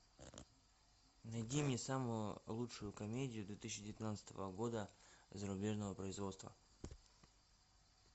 найди мне самую лучшую комедию две тысячи девятнадцатого года зарубежного производства